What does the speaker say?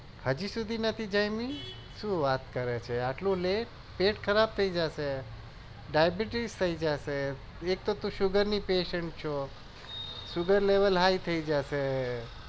હજુ સુધી નથી જમી? શું વાત કરે છે આટલું લેટ પેટ ખરાબ થઇ જશે ડાયાબીટીસ થઇ જશે એક તો તું sugar ની patients છો sugar level high થઇ જાશે